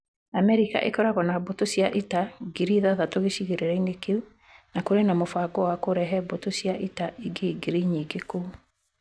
Amerika ĩkoragwo na mbũtũ cia ita ngiri ithathatũ gĩcigĩrĩra-inĩ kĩu. Na kũrĩ na mũbango wa kũrehe mbũtũ cia ita ingĩ ngiri nyingĩ kũu.